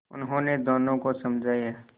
उन्होंने दोनों को समझाया